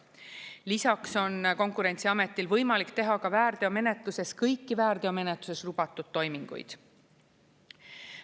Lisaks on Konkurentsiametil võimalik teha ka väärteomenetluses kõiki väärteomenetluses lubatud toiminguid.